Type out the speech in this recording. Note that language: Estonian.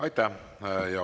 Aitäh!